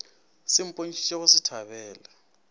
se bontšhitše go se thabele